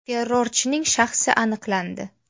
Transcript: Terrorchining shaxsi aniqlandi.